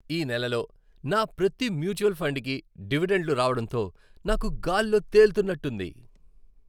ఈ నెలలో నా ప్రతి మ్యూచువల్ ఫండ్కి డివిడెండ్లు రావడంతో నాకు గాలిలో తేలుతున్నట్టుంది.